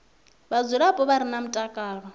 vhadzulapo vha re na mutakalo